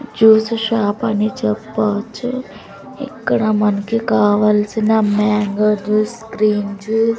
juice shop అని చెప్పవచ్చు ఇక్కడ మనకి కావాల్సిన మ్యాంగో జ్యూస్ క్రీమ్ జూ--